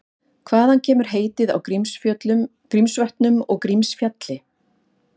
Hvaðan kemur heitið á Grímsvötnum og Grímsfjalli?